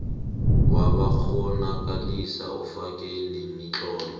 wabakghonakalisi ufake nemitlolo